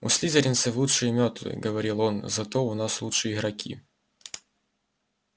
у слизеринцев лучшие мётлы говорил он зато у нас лучшие игроки